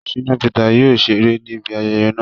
Shina Peter yóò ṣere nibi ayẹyẹ naa